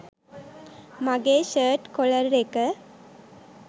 මගේ shirt collar එක